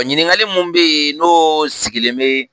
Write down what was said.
Ɲininkali min be yen n'o sigilen be